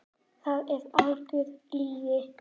Það er algjör lygi.